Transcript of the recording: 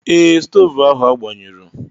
Ee, stoovu ahụ agbanyụrụ.